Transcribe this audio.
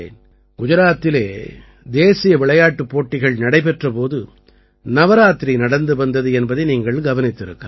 குஜராத்திலே தேசிய விளையாட்டுப் போட்டிகள் நடைபெற்ற போது நவராத்திரி நடந்து வந்தது என்பதை நீங்கள் கவனித்திருக்கலாம்